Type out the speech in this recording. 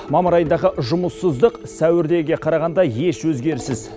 мамыр айындағы жұмыссыздық сәуірдегіге қарағанда еш өзгеріссіз